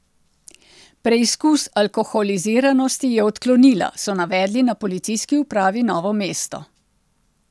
Preizkus alkoholiziranosti je odklonila, so navedli na Policijski upravi Novo mesto.